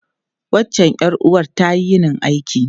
Wancan ’yar’uwar ta yini aiki.